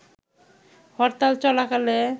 হরতাল চলাকালে